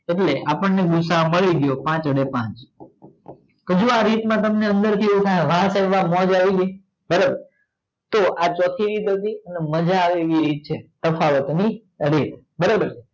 એટલે આપડે ગૂસાઅ મળી ગયો પાંચ અને પાંચ હજુ તમને આ રીત મા તમને આવી ગય તો આ ચોથી રીત તમને મજા આવે એવી રીત છે તફાવત ની રીત બરોબર